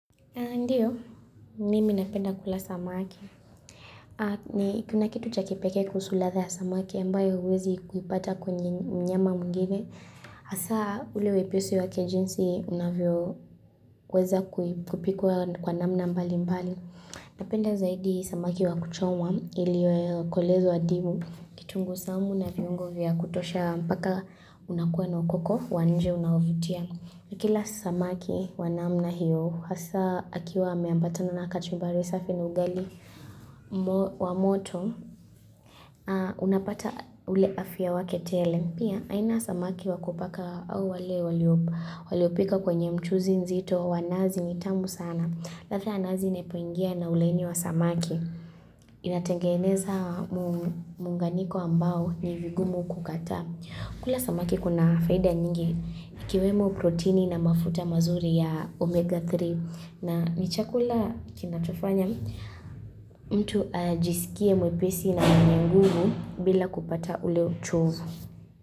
Ndiyo, mimi napenda kula samaki. Kuna kitu cha kipekee kuhusu ladha ya samaki, ambayo huwezi kuipata kwenye mnyama mwingine. Hasa ule wepesi wake jinsi unavyoweza kupikwa kwa namna mbali mbali. Napenda zaidi samaki wa kuchomwa iliyokolezwa wa ndimu. Kitunguu saumu na viungo vya kutosha mpaka unakuwa na ukoko wa nje unaovutia. Kila samaki wa namna hiyo, hasa akiwa ameambatana na kachumbari safi na ugali wa moto, unapata ule afya wake tele. Pia, aina ya samaki wakupaka au wale waliopika kwenye mchuzi nzito, wa nazi ni tamu sana. Ladha ya nazi inapoingia na ulaini wa samaki, inatengeneza muunganiko ambao ni vigumu kukataa. Kula samaki kuna faida nyingi ikiwemo proteini na mafuta mazuri ya omega 3 na ni chakula kinachofanya mtu ajisikie mwepesi na mwenye nguvu bila kupata ule uchovu.